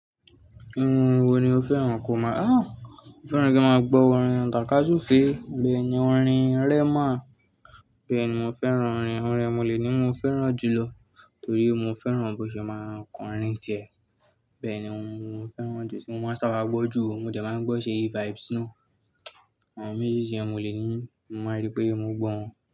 Irun wo ni o fẹ́ràn kó máa? A! Mo fẹ́ràn kí n máa gbọ́ orin Taka Sufe. Bẹ́ẹ̀ ni orin Rema. Bẹ́ẹ̀ ni mo fẹ́ràn orin e. Orin e n moleni mo fẹ́ràn jù lọ torí mo fẹ́ràn bó ṣe máa ń kọrin n tíẹ̀. Bẹ́ẹ̀ ni ohun ni mo fẹ́ràn jù tí mo máa ń ṣàbà gbọ́ jù o. Mo dẹ̀ máa ń gbọ́ ṣeyi vibes náà. Àwọn méjèjì yẹn ni moleni, mo máa n rí pé mo gbọ́ wọn.